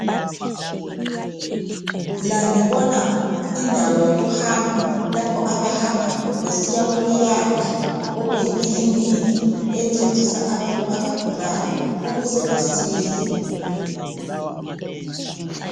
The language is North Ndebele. La ngibona indawo yokuhamba .Lapho abahamba besiya kuleyandlu okuyi ekiliniki encedisa abantu abagulayo ukuze basile .